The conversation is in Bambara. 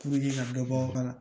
ka dɔ bɔ k'a la